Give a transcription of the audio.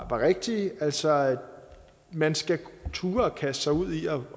var rigtige altså man skal turde at kaste sig ud i at